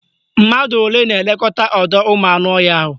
Mmadụ olee na-elekọta ọdọụmụanụọhịa ahụ?